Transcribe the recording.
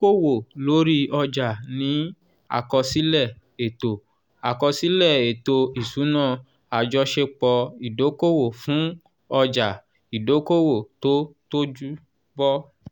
ìdókòwò lórí ọjà ní àkọsílẹ̀ ètò àkọsílẹ̀ ètò ìṣúná àjọṣepọ́ ìdókòwò fún ọjà ìdókòwò tó tójú bọ́.